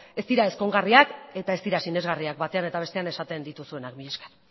ez dira ezkongarriak eta ez dira sinesgarriak batean eta bestean esaten dituzuenak mila esker